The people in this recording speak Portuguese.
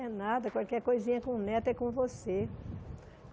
É nada, qualquer coisinha com neto é com você.